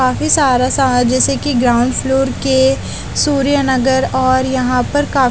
काफी सारा समान जेसे की ग्राउंड फ्लोर के सूर्यनगर और यहाँ पर काफी --